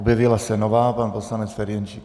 Objevila se nová - pan poslanec Ferjenčík.